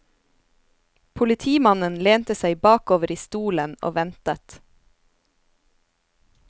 Politimannen lente seg bakover i stolen og ventet.